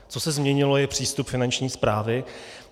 Co se změnilo, je přístup Finanční správy.